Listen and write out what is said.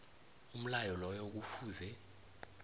umlayo loyo kufuze